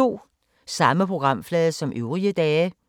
Samme programflade som øvrige dage